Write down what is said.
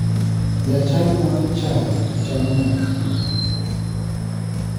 Jochadi madho chaye to chamo nyaka kuon.